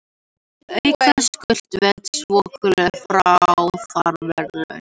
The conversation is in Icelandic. Auk þess skulu veitt svokölluð friðarverðlaun.